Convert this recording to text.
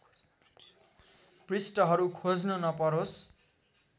पृष्ठहरू खोज्नु नपरोस्